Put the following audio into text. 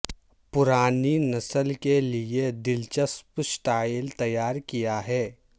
پرانی نسل کے لئے دلچسپ سٹائل تیار کیا ہے